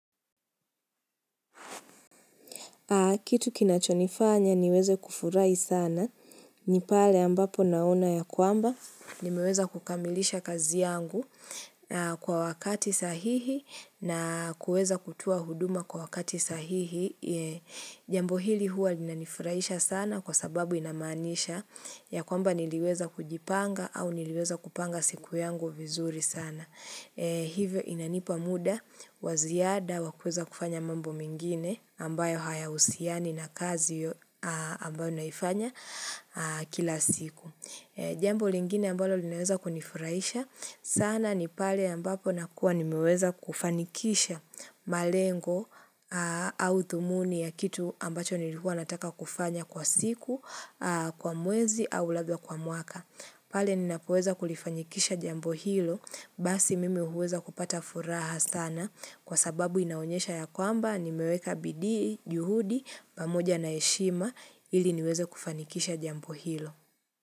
Kitu kinachonifanya niweze kufurai sana, ni pale ambapo naona ya kwamba, nimeweza kukamilisha kazi yangu kwa wakati sahihi na kueza kutua huduma kwa wakati sahihi. Jambo hili huwa lina nifurahisha sana kwa sababu inamanisha ya kwamba niliweza kujipanga au niliweza kupanga siku yangu vizuri sana. Hivyo inanipa muda waziada wakuweza kufanya mambo mengine ambayo haya usiani na kazi ambayo naifanya kila siku Jambo lingine ambalo linaweza kunifurahisha sana ni pale ambapo nakua nimeweza kufanikisha malengo au thumuni ya kitu ambacho nilikuwa nataka kufanya kwa siku kwa mwezi au labda kwa mwaka pale ninapoweza kulifanikisha jambo hilo, basi mimi huweza kupata furaha sana kwa sababu inaonyesha ya kwamba nimeweka bidii, juhudi, pamuja na heshima ili niweze kufanikisha jambo hilo.